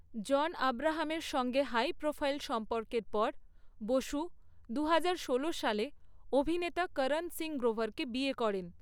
জন আব্রাহামের সঙ্গে high profile সম্পর্কের পর, বসু দু হাজার ষোলো সালে অভিনেতা করণ সিং গ্রোভারকে বিয়ে করেন।